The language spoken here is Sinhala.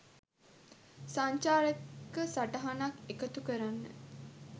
සංචාරක සටහනක් එකතු කරන්න